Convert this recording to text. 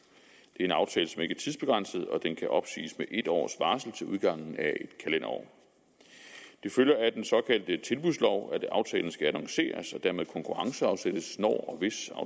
en aftale som ikke er tidsbegrænset og den kan opsiges med en års varsel til udgangen af et kalenderår det følger af den såkaldte tilbudslov at aftalen skal annonceres og dermed konkurrenceudsættes når